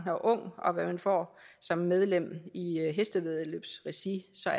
og ung og hvad man får som medlem i hestevæddeløbsregi så